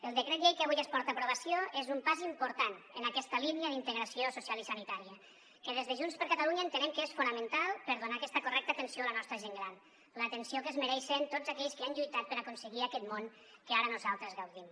el decret llei que avui es porta a aprovació és un pas important en aquesta línia d’integració social i sanitària que des de junts per catalunya entenem que és fonamental per donar aquesta correcta atenció a la nostra gent gran l’atenció que es mereixen tots aquells que han lluitat per aconseguir aquest món que ara nosaltres gaudim